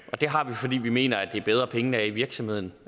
og det har vi fordi vi mener at det er bedre at pengene er i virksomheden